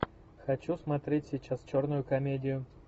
хочу смотреть сейчас черную комедию